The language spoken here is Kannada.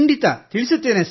ತಿಳಿಸುತ್ತೇನೆ ಸರ್